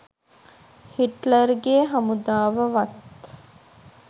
හිට්ලර්ගෙ හමුදාව වත්